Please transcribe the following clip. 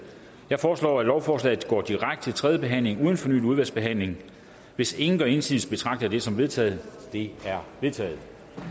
jeg foreslår at lovforslaget går direkte til tredjebehandling uden fornyet udvalgsbehandling hvis ingen gør indsigelse betragter jeg det som vedtaget det er vedtaget